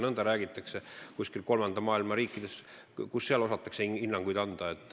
Kui nõnda räägitakse, siis kuidas kuskil kolmanda maailma riikides osatakse hinnanguid anda?